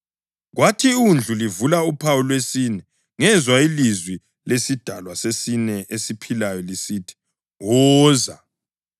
Kwathi iWundlu livula uphawu lwesine, ngezwa ilizwi lesidalwa sesine esiphilayo lisithi, “Woza!”